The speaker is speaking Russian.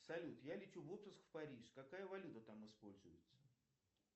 салют я лечу в отпуск в париж какая валюта там используется